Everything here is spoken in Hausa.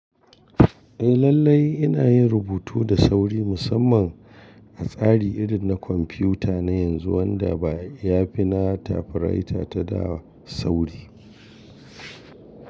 Eh lallai ina yin rubutu da sauri musamman a tsari irin na kwamfuta na yanzu wanda ba ya fi na typewriter ta da sauri.